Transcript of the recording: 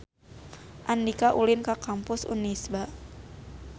Andika ulin ka Kampus Unisba